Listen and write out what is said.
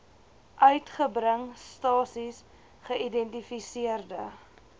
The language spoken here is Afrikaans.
uitgebring stasies geïdentifiseerde